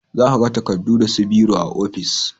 Za ka ga takardu da su biro a ofis